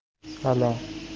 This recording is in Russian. алло